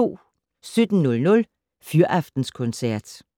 17:00: Fyraftenskoncert